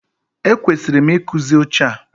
E kwesịrị m ị kụzi oche a.